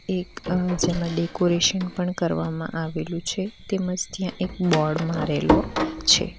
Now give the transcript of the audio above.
એક આ જેમાં ડેકોરેશન પણ કરવામાં આવેલું છે તેમજ ત્યાં એક બોર્ડ મારેલો છે.